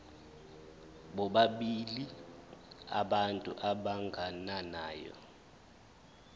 bobabili abantu abagananayo